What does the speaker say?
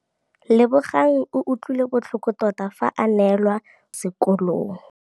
Lebogang o utlwile botlhoko tota fa a neelwa phokotsômaduô kwa sekolong.